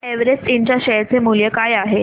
Everest Ind च्या share चे मूल्य काय आहे